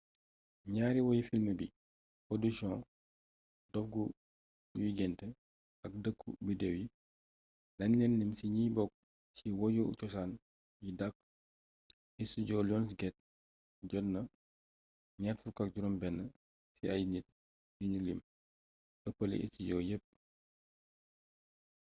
ñaari woyi filmy bi audition dof yuy gént ak dëkku biddew yi dañ leen lim ci ñi bokk ci woyu cosaan yi dàq. istijoo lionsgate jot na 26 ci ay nit yuñu lim – ëppale istijoo yépp